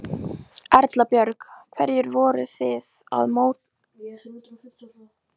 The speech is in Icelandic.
Erla Björg: Hverju voru þið að mótmæla í dag?